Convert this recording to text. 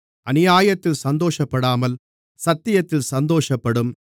அநியாயத்தில் சந்தோஷப்படாமல் சத்தியத்தில் சந்தோஷப்படும்